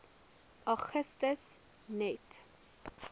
augustus net